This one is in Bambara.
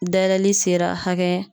Dayɛlɛli sera hakɛ